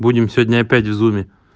будем сегодня опять в зуме